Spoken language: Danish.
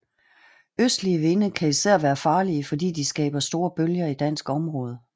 Østlige vinde kan især være farlige fordi de skaber store bølger i dansk område